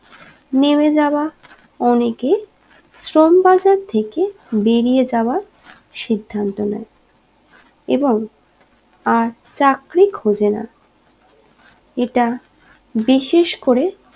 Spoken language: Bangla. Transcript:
নেমে যাওয়া অনেকে শ্রম বাজার থেকে বেরিয়ে যাওয়া সিদ্ধান্ত নেয় এবং আর চাকরি খোজেনা এটা বিশেষ করে